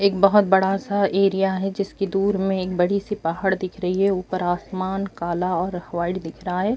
ایک بھوت بڑا سا ایریا ہے۔ جسکے دور مے ایک بڑی سی پہاڈ دیکھ رہی ہے. اپر آسمان کالا اور وائٹ دیکھ رہا ہے۔